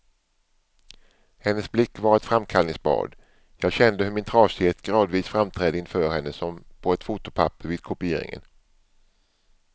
Hennes blick var ett framkallningsbad, jag kände hur min trasighet gradvis framträdde inför henne som på ett fotopapper vid kopieringen.